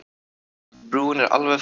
Brúin er alveg farin.